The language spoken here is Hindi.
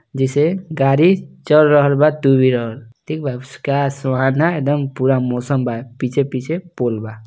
जैसे गाड़ी चल रहल बा टु व्हीलर ठीक बा सुहाना एकदम पूरा मौसम बा पीछे-पीछे पोल बा।